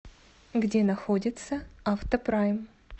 где находится автопрайм